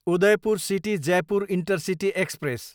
Udaipur city, Jaipur intercity express